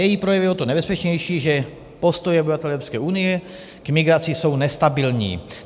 Její projev je o to nebezpečnější, že postoje obyvatel Evropské unie k migraci jsou nestabilní.